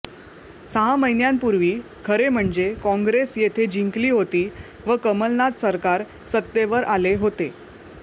सहा महिन्यांपुर्वी खरे म्हणजे कॉंग्रेस येथे जिंकली होती व कमलनाथ सरकार सत्तेवर आले होते